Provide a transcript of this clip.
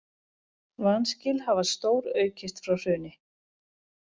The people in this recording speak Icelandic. Vanskil hafa stóraukist frá hruni